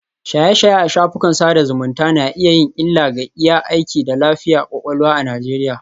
Shaye-shaye a shafukan sada zumunta na iya yin illa ga iya aiki da lafiyar kwakwalwa a Najeriya